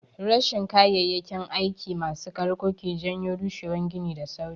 Rashin kayayyakin gini masu ƙarko ke janyo rushewan gini da sauri.